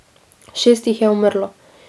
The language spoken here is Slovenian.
Šest jih je umrlo.